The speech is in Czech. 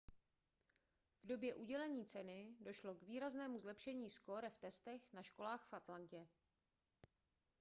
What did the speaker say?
v době udělení ceny došlo k výraznému zlepšení skóre v testech na školách v atlantě